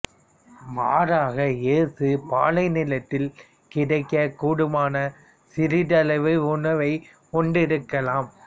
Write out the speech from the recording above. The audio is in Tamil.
மாறாக இயேசு பாலைநிலத்தில் கிடைக்கக் கூடுமான சிறிதளவு உணவை உண்டிருக்கலாம்